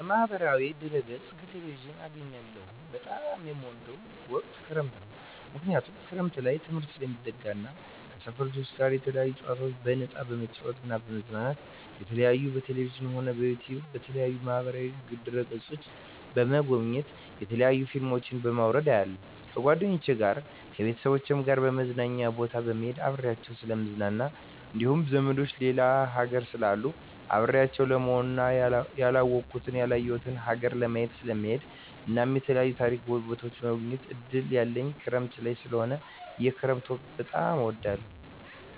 ከማህበራዊ ድህረገፅ ከቴሌቪዥን አገኛለሁ በጣም የምወደዉ ወቅት ክረምት ነዉ ምክንያቱም ክረምት ላይ ትምህርት ስለሚዘጋ እና ከሰፈር ልጆች ጋር የተለያዩ ጨዋታዎችን በነፃነት በመጫወት በመዝናናት የተለያዩ በቴሌቪዥንም ሆነ በዩቱዩብ በተለያዩ ማህበራዋ ድህረ ገፆችን በመጎብኘት የተለያዩ ፊልሞችን በማዉረድ አያለሁ ከጓደኞቸ ጋር ከቤተሰቦቸ ጋር መዝናኛ ቦታ በመሄድና አብሬያቸዉ ስለምዝናና እንዲሁም ዘመዶቸ ሌላ ሀገር ስላሉ አብሬያቸው ለመሆንና ያላወኩትን ያላየሁትን ሀገር ለማየት ስለምሄድ እናም የተለያዩ ታሪካዊ ቦታዎችን የመጎብኘት እድል ያለኝ ክረምት ላይ ስለሆነ የክረምት ወቅት በጣም እወዳለሁ